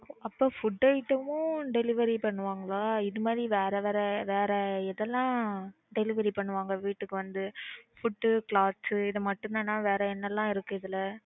அப்போ food item மும் delivery பண்ணுவாங்களா? இது மாதிரி வேற வேற வேற எதெல்லாம் delivery பண்ணுவாங்க. வீட்டுக்கு வந்து food Clothes இது மட்டும் தானா? வேற என்னலாம் இருக்கு இதுல